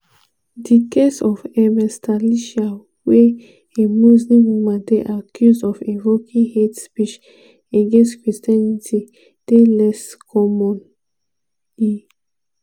di case of ms thalisa wia a muslim woman dey accused of invoking hate speech against christianity dey less common- e